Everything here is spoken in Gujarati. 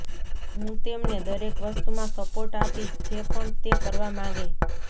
હું તેમને દરેક વસ્તુમાં સપોર્ટ આપીશ જે પણ તે કરવા માંગે